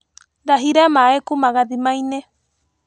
Ndahire maĩ kuma gathimainĩ.